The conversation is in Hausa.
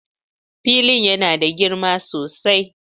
Filin yana da girma sosai.